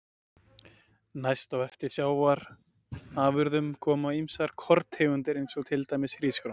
Næst á eftir sjávarafurðum koma ýmsar korntegundir eins og til dæmis hrísgrjón.